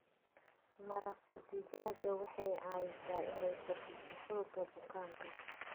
Maraq digaaga waxay caawisaa inay kordhiso xoogga bukaanka.